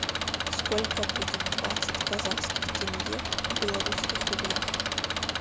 сколько будет двадцать казахских тенге в белорусских рублях